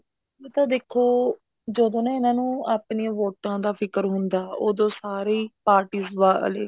ਉਹ ਤਾਂ ਦੇਖੋ ਜਦੋਂ ਨਾ ਇਹਨਾ ਨੂੰ ਆਪਣੀਆਂ ਵੋਟਾਂ ਦਾ ਫਿਕਰ ਹੁੰਦਾ ਉਦੋਂ ਸਾਰੇ ਹੀ parties ਵਾਲੇ